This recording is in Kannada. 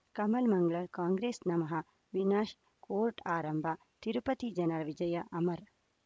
ಕಮಲ್ ಮಂಗಳ್ ಕಾಂಗ್ರೆಸ್ ನಮಃ ವಿನಾಶ್ ಕೋರ್ಟ್ ಆರಂಭ ತಿರುಪತಿ ಜನರ ವಿಜಯ ಅಮರ್